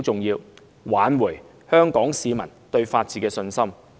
而挽回香港市民對法治的信心十分重要。